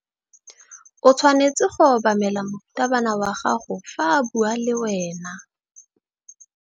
O tshwanetse go obamela morutabana wa gago fa a bua le wena.